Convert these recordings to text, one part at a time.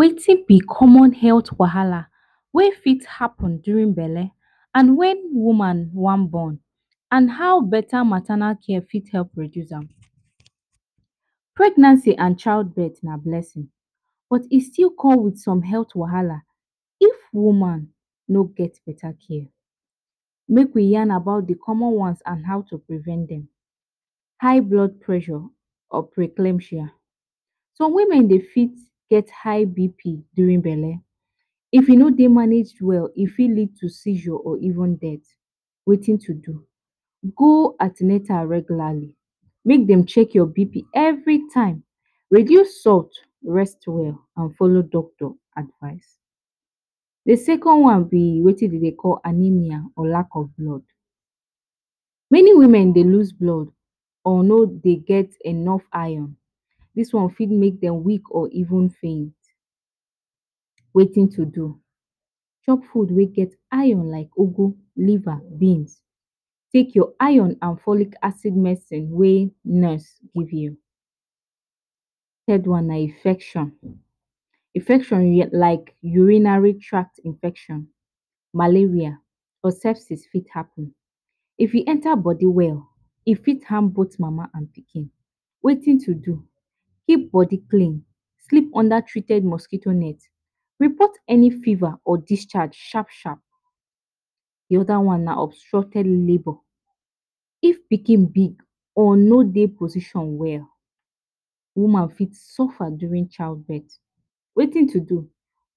Wetin b common health wahala wey fit happen during belle and wen woman wan born and how beta maternal care for reduce am. Pregnancy and child birth na blessing but e still com with some kind wahala if woman no get beta care, make we yarn about d common ones and how to prevent dem. High blood pressure or preclemcia, some women Dey fit get high BP during belle, if e no manage well e fit lead to seizure or even death, Wetin to do, go an ten atal regularly make dem check your BP every time, reduce salt, rest well and follow doctor advise. D second one b Wetin dem Dey call anemia or lack of blood, many women Dey loose blood or no Dey get enough iron dis one for make dem weak or even faint, Wetin to do, chop food wey get iron like ugwu, liver or beans, take your iron and folic acid wey nurse give you. Third one na infection, infection like urinary tract infection, malaria fit happen, if e enter body well e fit harm both mama and pikin, Wetin to do, keep body clean, sleep under treated mosquito net, report any fever or discharge sharp sharp. D oda one na obstructed labor, if pikin big or no Dey position well, woman fit suffa during child birth, Wetin to do,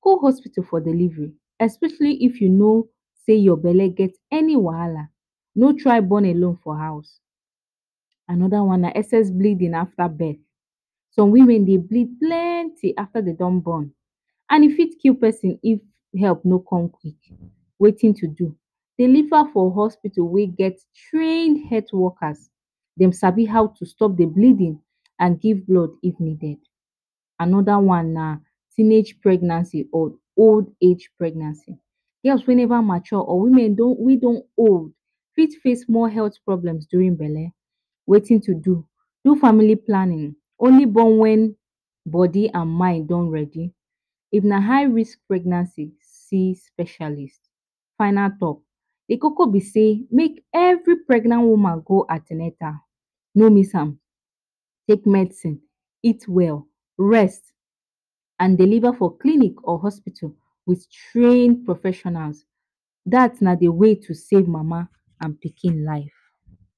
go hospital for delivery especially if u know say your belle get any wahala no try born alone for house. Anoda one na excess bleeding afta birth some women Dey bleed plenty afta birth and e fit kill persin if help no come quick, Wetin to do, deliver for hospital wey get trained health workers dem sabi how to stop d bleeding and give blood if needed. anoda one na teenage pregnancy or old age pregnancy, girl wey Neva mature or women wey don old fit face serious health problem during belle, wetin to do, do family planning, only born wen born and mind don ready, if na high risk pregnancy see specialist.final talk d Loki b say make every pregnant woman go an ten atal no miss am, take medicine, eat well, rest and deliver for clinic or hospitals wit trained professionals, dat na d way to save mama and pikin life.